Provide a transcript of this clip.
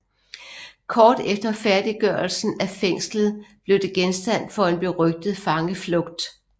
Kort efter færdiggørelsen af fængslet blev det genstand for en berygtet fangeflugt